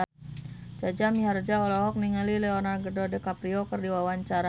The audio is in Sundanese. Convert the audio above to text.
Jaja Mihardja olohok ningali Leonardo DiCaprio keur diwawancara